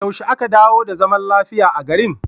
Yaushe aka dawo da zaman lafiya a garin?